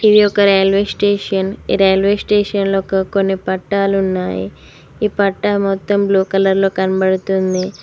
ఇది ఒక railway station railway station లోకి కొన్ని పట్టాలు ఉన్నాయి ఈ పట మొత్తం బ్లూ కలర్ లో కనబడుతుంది.